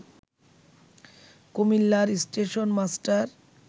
কুমিল্লার station master